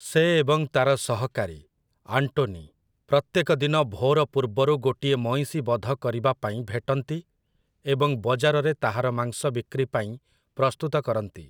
ସେ ଏବଂ ତାର ସହକାରୀ, ଆଣ୍ଟୋନି, ପ୍ରତ୍ୟେକ ଦିନ ଭୋର ପୂର୍ବରୁ ଗୋଟିଏ ମଇଁଷି ବଧ କରିବା ,ପାଇଁ ଭେଟନ୍ତି ଏବଂ ବଜାରରେ ତାହାର ମାଂସ ବିକ୍ରିପାଇଁ ପ୍ରସ୍ତୁତ କରନ୍ତି ।